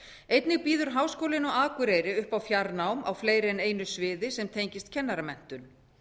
einnig býður háskólinn á akureyri upp á fjarnám á fleiri en einu sviði sem tengist kennaramenntun